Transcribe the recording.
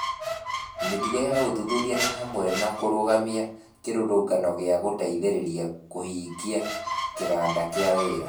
Mĩtugo ya ũthuthuria nĩ hamwe na kũrũgamia kĩrũrũngano gĩa gũteithĩrĩria kũhingia kĩganda kĩa wĩra